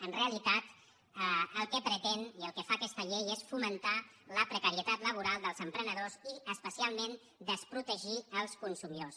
en realitat el que pretén i el que fa aquesta llei és fomentar la precarietat laboral dels emprenedors i especialment desprotegir els consumidors